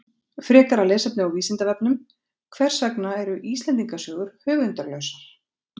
Frekara lesefni á Vísindavefnum: Hvers vegna eru Íslendingasögur höfundarlausar?